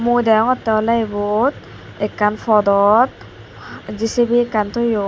mui degongotey olay ebot ekkan podot J_C_B ekkan toyon.